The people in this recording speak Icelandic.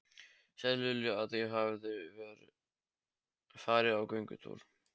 Segðu Lilju að ég hafi farið í göngutúr.